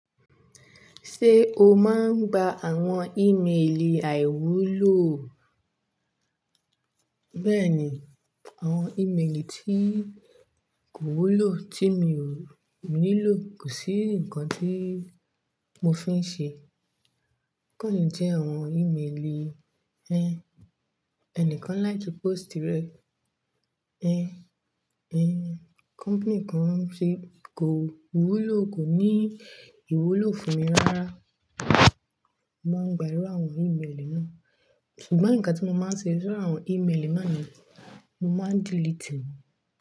Ṣé o máa ń gba àwọn ìmeèlì àìwúlò? Bẹ́ẹ̀ni, àwọn ìmeèlì tí kò wúlò tí mi ò nílò, kò sí ǹkan tí mo fi ń ṣe. Kọ̀ní jẹ́ àwọn ìmeèlì ẹni kan láti pósítì rẹ. Ẹ̀hn company kan ṣe kò wúlò kò ní ìwúlò fún mi rárá. Mo ń gba irú àwọn ìmeèlì náà. Ṣùgbọ́n nkán tí mo máa ń ṣe sirú àwọn ìmeèlì náà ni mo máa ń delete e ni.